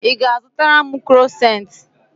Ị ga-azụtara m krosant?